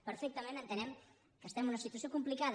perfectament entenem que estem en una situació complicada